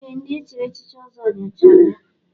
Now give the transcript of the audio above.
Ee, ndị echiri echichi Ọzọ nyochara ya.